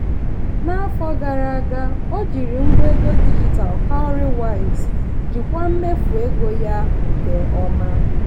n'afọ gara aga o jiri ngwa ego dijitalụ cowrywise jikwaa mmefu ego ya nke ọma.